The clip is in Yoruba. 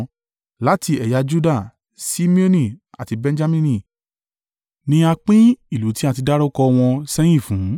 Láti ẹ̀yà Juda, Simeoni àti Benjamini ni a pín ìlú tí a ti dárúkọ wọn sẹ́yìn fún.